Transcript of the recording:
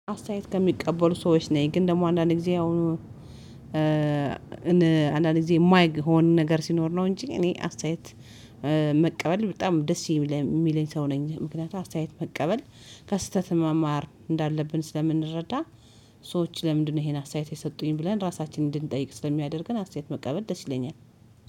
አስተያየት ከሚቀበሉ ሰዎች ነኝ ግን ደግሞ አንዳንድ ጊዜ አሁን አንዳንድ ጊዜ የማይሆን ነገር ሲኖር ነው እንጂ እኔ አስተያየት መቀበል በጣም ደስ የሚለኝ ሰው ነኝ ምክንያቱም አስተያየት መቀበል ከስህተት መማር እንዳለብን ስለምንረዳ። ሰዎች ለምንድነው? ይሄን አስተያየት የሰጡኝ ብለን ራሳችንን እንድንጠይቅ ስለሚያደርገን አስተያየት መቀበል ደስ ይለኛል